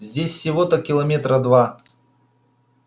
здесь всего-то километра два